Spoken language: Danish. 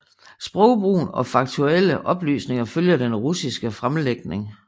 Sprogbrugen og faktuelle oplysninger følger den russiske fremlægning